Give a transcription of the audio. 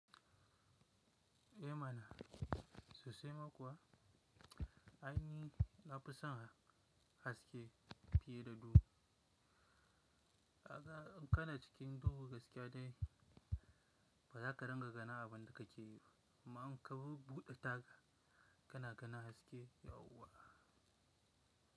Eh mana sosai ma kuwa aini na fusan haske fiye da dubu. In kana cikin dubu gaskiya dai ba za ka ringa gani abun da kake yi ba. Amma in ka bubbuɗe taga kana ganin haske yauwa.